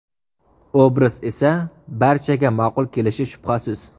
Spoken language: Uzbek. Obraz esa barchaga ma’qul kelishi shubhasiz.